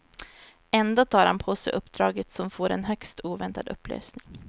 Ändå tar han på sig uppdraget som får en högst oväntad upplösning.